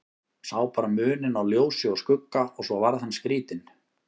Sá bara muninn á ljósi og skugga og svo varð hann skrítinn.